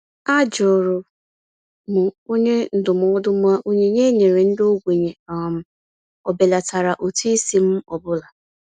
A jụrụ m onye ndụmọdụ ma onyinye e nyere ndị ogbenye um ọbelatara ụtụisi m ọ bụla.